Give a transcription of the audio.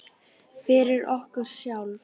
Fyrir okkur sjálf.